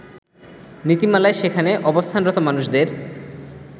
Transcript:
নীতিমালায় সেখানে অবস্থানরত মানুষদের